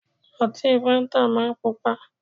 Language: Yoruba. Ọtí fáńtà máa ń Pupa